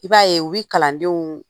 I b'a ye u bi kalandenw